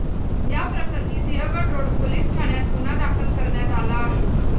याप्रकरणी Sinhagad road police ठाण्यात गुन्हा दाखल करण्यात आला आहे.